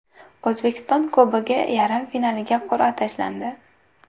O‘zbekiston Kubogi yarim finaliga qur’a tashlandi.